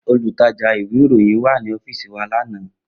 Olutaja iwe iroyin wa ni ọfiisi wa lana.